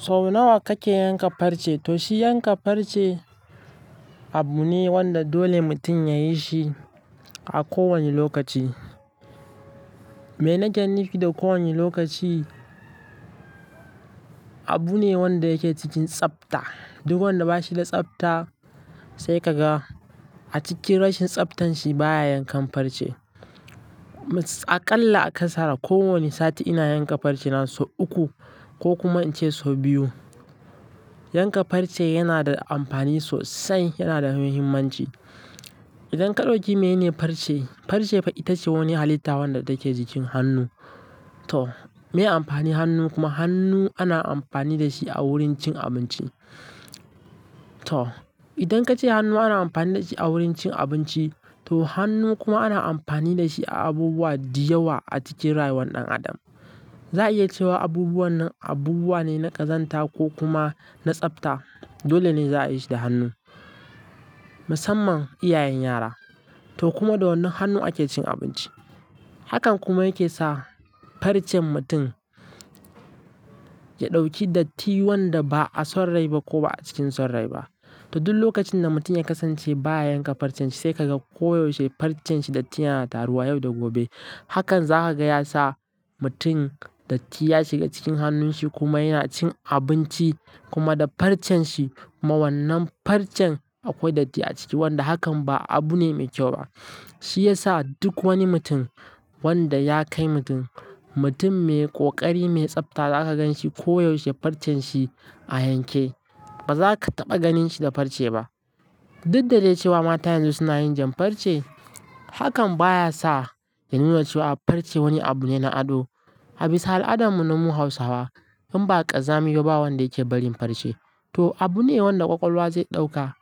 So nawa kake yanka farce? To shi yanka farce abune wanda dole mutum yayi shi a kowane lokaci. Me nake nufi da kowane lokaci? Abu ne wanda yake cikin tsabta. Duk wanda bashi da tsabta sai ka ga a cikin rashin tsabtan shi baya yankan farce. Aƙalla a ƙasara ko wane sati ina yanka farce na sau uku ko kuma ince sau biyu. Yanka farce yana da amfani sosai, yana da muhimmanci. Idan ka ɗauki mene farce, farce ita ce wani halitta wanda take jikin hannu. To me amfani hannu kuma hannu ana amfani da shi a wurin cin abinci. To idan ka ce hannu ana amfani da shi a wurin cin abinci, to hannu kuma ana amfani da shi a abubuwa diyawa a cikin rayuwar ɗan adam. Za a iya cewa abubuwan nan abubuwa ne na ƙazanta ko kuma na tsabta. Dole ne za a yi shi da hannu, musamman iyayen yara. To kuma da wannan hannu ake cin abinci. Hakan kuma yake sa farcen mutum ya ɗauki datti wanda ba a son rai ba ko ba a cikin son rai ba. To duk lokacin da mutum ya kasance baya yanka farcen shi sai ka ga koyaushe farcen shi datti yana taruwa yau da gobe. Hakan zaka gaya sa mutum datti ya shiga cikin hannun shi kuma yana cin abinci kuma da farcen shi. Mawannan farcen akwai datti a ciki wanda hakan ba abu ne mai kyau ba. Shi yasa duk wani mutum wanda ya kai mutum, mutum mai ƙoƙari, mai tsabta za ka gan shi koyaushe farcen shi a yanke. Ba za ka taɓa ganin shi da farce ba. Dik da cewa mata yanzu suna yin jan farce, hakan baya sa ya nuna cewa farce wani abu ne na ado. A bisa al'adarmu na mu Hausawa in ba ƙazami yau ba wanda yake barin farce. To abune wanda ƙwaƙwalwa zai ɗauka.